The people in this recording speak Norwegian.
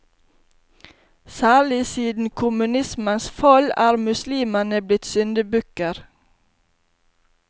Særlig siden kommunismens fall er muslimene blitt syndebukker.